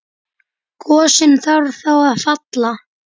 Gosinn þarf þá að falla.